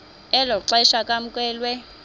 elo xesha kwamkelwe